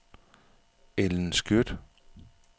Ellen Skjødt